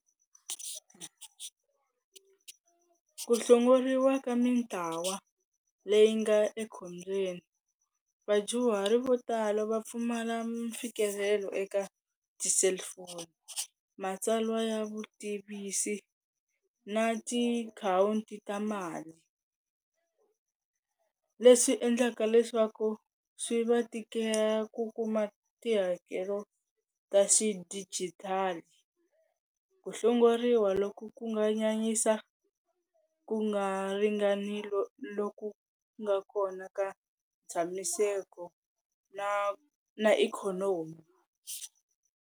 Ku hlongoriwa ka mintlawa leyi nga ekhombyeni, vadyuhari vo tala va pfumala mfikelelo eka tselufoni, matsalwa ya vutivisi na tiakhawunti ta mali. Leswi endlaka leswaku swi va tikela ku kuma tihakelo ta xidijitali, ku hlongoriwa loko ku nga nyanyisa ku nga ringanile loku nga kona ka ntshamiseko na na ikhonomi.